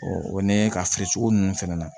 o ni ka feere cogo ninnu fana na